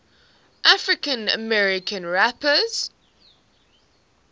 african american rappers